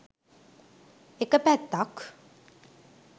එක පැත්තක්.